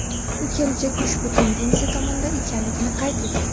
U kelajak ushbu tendensiya tomonida ekanligini qayd etdi.